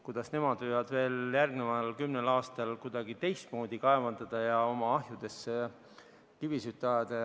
Kuidas nemad võivad järgmisel kümnel aastal kuidagi teistmoodi kaevandada ja oma ahjudesse kivisid ajada?